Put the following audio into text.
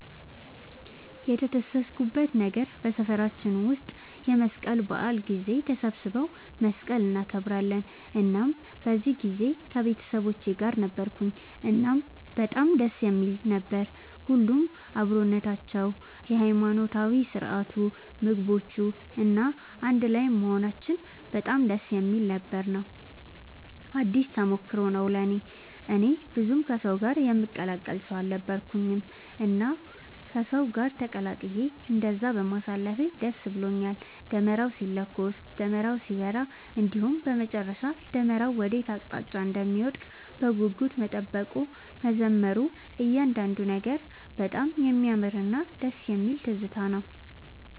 የተደሰትኩበት ነገር በሰፈራችን ውስጥ የመስቀል በዓል ጊዜ ተሰባስበው መስቀልን እናከብራለን እናም በዚህ ጊዜ ከቤተሰቦቼ ጋር ነበርኩኝ እናም በጣም ደስ የሚል ነበር። ሁሉም አብሮነታቸው፣ የሃይማኖታዊ ስርዓቱ፣ ምግቦቹ፣ እና አንድ ላይም መሆናችን በጣም ደስ የሚል ነበር ነው። አዲስ ተሞክሮም ነው ለእኔ። እኔ ብዙም ከሰው ጋር የምቀላቀል ሰው አልነበርኩኝም እና ከሰው ጋር ተቀላቅዬ እንደዛ በማሳለፌ ደስ ብሎኛል። ደመራው ሲለኮስ፣ ደመራው ሲበራ እንዲሁም በመጨረሻ ደመራው ወዴት አቅጣጫ እንደሚወድቅ በጉጉት መጠበቁ፣ መዘመሩ እያንዳንዱ ነገር በጣም የሚያምርና ደስ የሚል ትዝታ ነው።